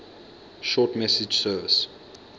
short message service